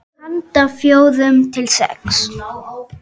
Handa fjórum til sex